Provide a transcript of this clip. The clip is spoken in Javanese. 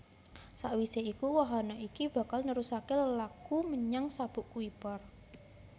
Sawisé iku wahana iki bakal nerusaké lelaku menyang Sabuk Kuiper